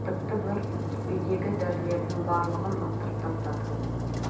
тіпті бір үйдегі дәрілердің барлығын лақтырып тастадық